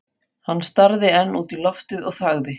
Hann starði enn út í loftið og þagði.